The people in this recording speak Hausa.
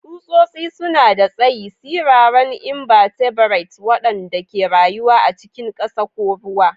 Tsutsotsi suna da tsayi, siraran inbatebrates waɗanda ke rayuwa a cikin ƙasa ko ruwa.